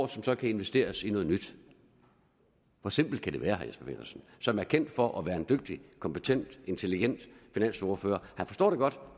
som så kan investeres i noget nyt hvor simpelt kan det være jesper petersen som er kendt for at være en dygtig kompetent intelligent finansordfører han forstår det godt